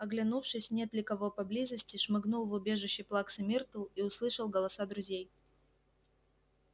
оглянувшись нет ли кого поблизости шмыгнул в убежище плаксы миртл и услышал голоса друзей